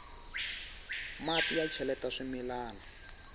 mati ya cheleta swimilana